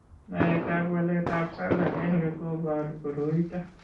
Naetab waletab SALL1 ko boru koroito.